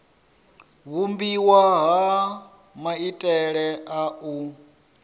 vhumbiwa ha maitele a u